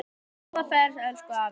Góða ferð, elsku afi.